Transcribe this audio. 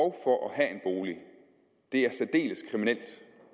have en bolig er særdeles kriminelt